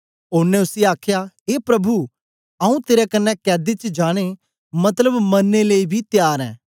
ओनें उसी आखया ए प्रभु आऊँ तेरे कन्ने कैदी च जाने मतलब मरने लेई बी त्यार ऐं